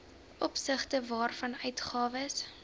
opsigte waarvan uitgawes